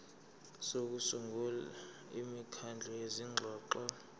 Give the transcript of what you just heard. sokusungula imikhandlu yezingxoxo